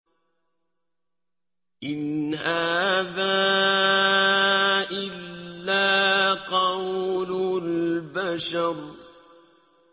إِنْ هَٰذَا إِلَّا قَوْلُ الْبَشَرِ